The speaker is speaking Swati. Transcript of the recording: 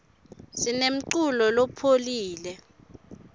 sinemculo lophoule